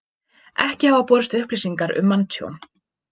Ekki hafa borist upplýsingar um manntjón